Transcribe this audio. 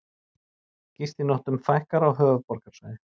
Gistinóttum fækkar á höfuðborgarsvæði